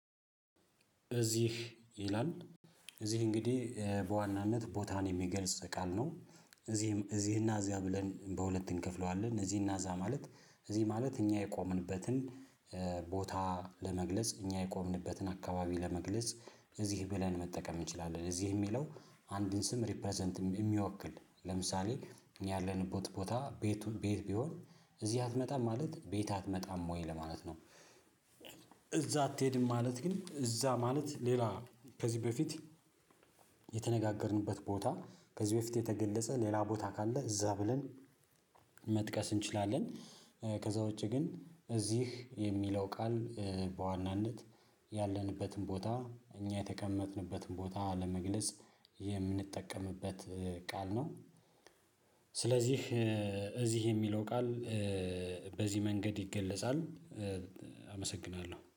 እዚህ ይላል እዚህ እንግዲህ በዋናነት ቦታን የሚገልጽ ቃል ነው። እዚህም እዚህና እዚያ ብለን በሁለት እንከፍለዋለን እዚህና እዛ ማለት እዚህ ማለት እኛ የቆምንበትን ቦታ ለመግለጽ እኛ የቆምንበትን አካባቢ ለመግለጽ እዚህ ብለን መጠቀም እንችላለን። እዚህ የሚለው አንድን ስም ሪፕረዘንት የሚወክል ለምሳሌ ያለን ቦት ቦታ ቤቱ ቤት ቢሆን እዚህ አትመጣም ማለት ቤት አትመጣም ወይ ለማለት ነው። እዛ አትሄድም ማለት ግን እዛ ማለት ሌላ ከዚህ በፊት የተነጋገርንበት ቦታ ከዚህ በፊት የተገለጸ ሌላ ቦታ ካለ እዛ ብለን መጥቀስ እንችላለን። ከዛ ውጪ ግን እዚህ የሚለው ቃል በዋናነት ያለንበትን ቦታ እኛ የተቀመጥንበትን ቦታ ለመግለጽ የምንጠቀምበት ቃል ነው። ስለዚህ እዚህ የሚለው ቃል በዚህ መንገድ ይገለጻል። አመሰግናለሁ